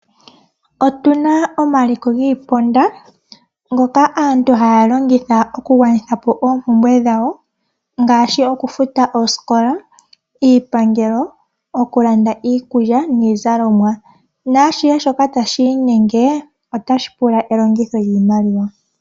Otuna omaliko giiponda, ngoka aantu ha ya longitha oku gwanithapo oompumbwe dhawo, ngaashi oku futa oosikola, iipangelo okulanda iikulya niizalomwa. Naashihe shoka tashi inyenge otashi pula elongitho lyiimaliwa.